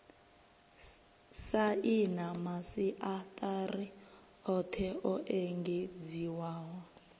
saina masiaṱari oṱhe o engedziwaho